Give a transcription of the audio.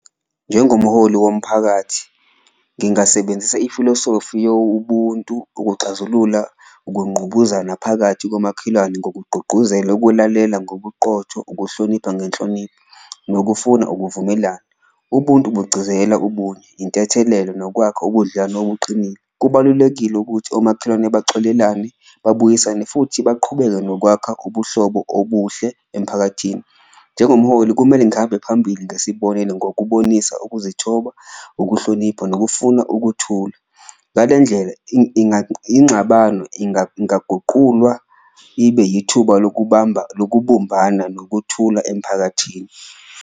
Njengomholi womphakathi ngingasebenzisa ifilisofi yo ubuntu ukuxazulula ukunqubuzana phakathi komakhelwane, ngokugqugquzela ukulalela ngobuqotho, ukuhlonipha ngenhlonipho nokufuna ukuvumelana. Ubuntu bugcizelela ubunye, intethelelo nokwakha ubudlelwano obuqinile, kubalulekile ukuthi omakhelwane baxolelane, babuyisane futhi baqhubeke nokwakha ubuhlobo obuhle emphakathini. Njengomholi kumele ngihambe phambili ngesibonelo ngokubonisa ukuzithoba, ukuhlonipha nokufuna ukuthula, ngale ndlela inxabano ingaguqulwa ibe yithuba lokubumbana nokuthula emphakathini.